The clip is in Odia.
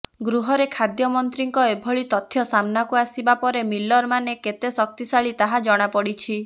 ଗୃହରେ ଖାଦ୍ୟ ମନ୍ତ୍ରୀଙ୍କ ଏଭଳି ତଥ୍ୟ ସାମ୍ନାକୁ ଆସିବା ପରେ ମିଲର ମାନେ କେତେ ଶକ୍ତିଶାଳୀ ତାହା ଜଣାପଡ଼ିଛି